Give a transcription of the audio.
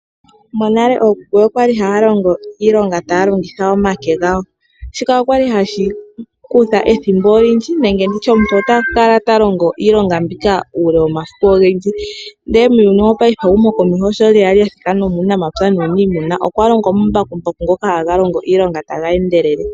Monale ookuku okwali haya longo iilonga taya longitha omake gawo ,shika okwali hashi kutha ethimbo olindji nenge nditye omuntu ota kala ta longo iilonga mbika uule womasiku ogendji ndele muuyuni wopaife ehumokomeho sho lyeya lya thika nomuunamapya nuunimuna, okwa longwa omambakumbaku ngoka haga longo iilonga taga endelele.